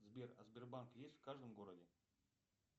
сбер а сбербанк есть в каждом городе